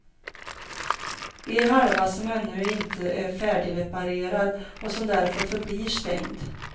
En halva som ännu inte är färdigreparerad och som därför förblir stängd.